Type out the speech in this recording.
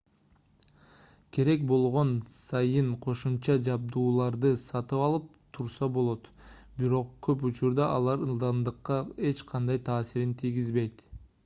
керек болгон сайын кошумча жабдууларды сатып алып турса болот бирок көп учурда алар ылдамдыкка эч кандай таасирин тийгизбейт